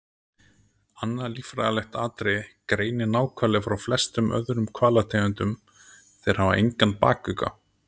Annað líffræðilegt atriði greinir náhvali frá flestum öðrum hvalategundum- þeir hafa engan bakugga.